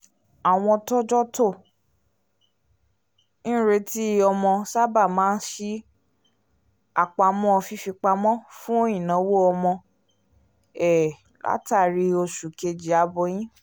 àwọn tọ́jọ́ tó ń retí ọmọ sábà máa ń ṣí àpamọ́ fífipamọ́ fún ináwó ọmọ um látàrí oṣù kejì aboyún